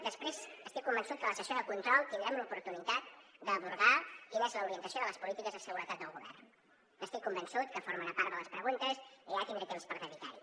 després estic convençut que en la sessió de control tindrem l’oportunitat d’abordar quina és l’orientació de les polítiques de seguretat del govern n’estic convençut que formarà part de les preguntes i allà tindré temps per dedicar hi